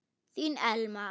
Þín Elma.